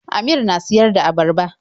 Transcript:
Amir na siyar da abarba.